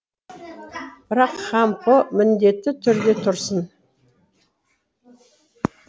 бірақ хампо міндетті түрде тұрсын